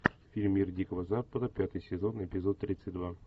фильм мир дикого запада пятый сезон эпизод тридцать два